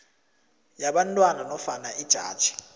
yabantwana nofana ijaji